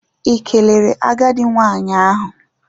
Ị kelere agadi nwanyị ahụ?